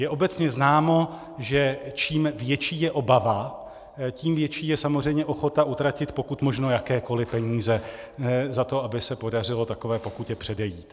Je obecně známo, že čím větší je obava, tím větší je samozřejmě ochota utratit pokud možno jakékoli peníze za to, aby se podařilo takové pokutě předejít.